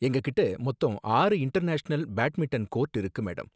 எங்ககிட்ட மொத்தம் ஆறு இன்டர்நேஷனல் பேட்மிண்டன் கோர்ட் இருக்கு, மேடம்.